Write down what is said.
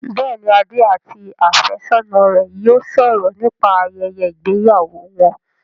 Bẹ́ẹ̀ni, Adé àti àfẹ́sọ́ná rẹ yóò sọ̀rọ̀ nípa ayẹyẹ ìgbéyàwó wọn